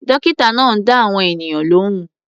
Dọ́kítà náà ń dá àwọn ènìyàn lóhùn.